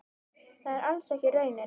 Það er alls ekki raunin.